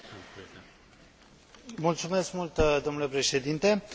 Argumentul pe care vrem să îl prezentăm e foarte simplu.